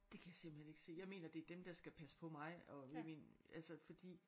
Det kan jeg simpelthen ikke se jeg mener det er dem der skal passe på mig og i min altså fordi